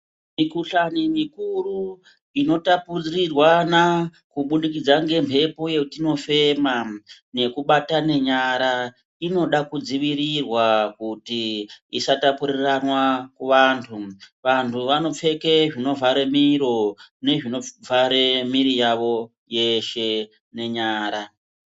Mikuhlani mikuru inotapurirwana kubudikidza ngemhepo yatinofema nekubatana nyara ,inoda kudzivirirwa kuti isatapuriranwa kuvantu, vantu vanopfeke zvinovhare miro nezvinovhare miri yavo yeshe nenyara.